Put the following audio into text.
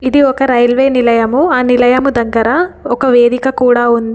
ఇది ఒక రైల్వే నిలయము. ఆ నిలయము దగ్గర ఒక వేదిక కూడా ఉంది.